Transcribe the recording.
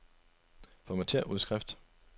Formatér udskrift.